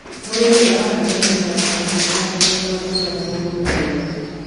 mũrĩmi arahanda mĩmera ya matunda ya mithemba nguranĩ harĩ mũgũnda